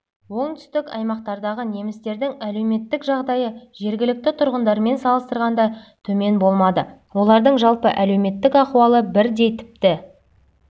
оңтүстік аймақтардағы немістердің әлеуметтік жағдайы жергілікті тұрғындармен салыстырғанда төмен болмады олардың жалпы әлеуметтік ахуалы бірдей тіпті